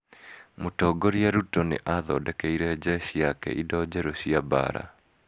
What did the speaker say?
Mũtongoria Ruto nĩ athondekeire njeci yake indo njerũ cia mbaara.